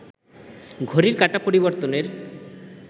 ঘটির কাঁটা পরিবর্তনের